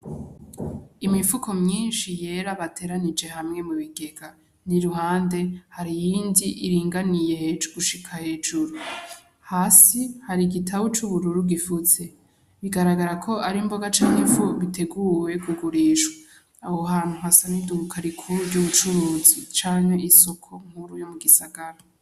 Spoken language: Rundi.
Imifuko myinshi yera bateranije hamwe mu bigega n'iruhande hari iyindi iringaniye gushika hejuru. Hasi hari igitabu c'ubururu gifutse, bigaragara ko ari imboga canke ifu biteguwe kugurishwa. Aho hantu hasa n'iduka rikuru ry'ubutunzi canke isoko nkuru yo mu gisagara.